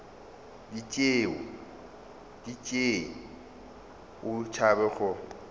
di tšee o tšhaba go